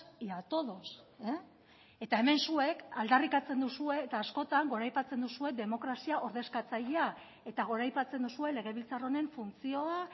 y a todos eta hemen zuek aldarrikatzen duzue eta askotan goraipatzen duzue demokrazia ordezkatzailea eta goraipatzen duzue legebiltzar honen funtzioa